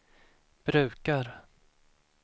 brukar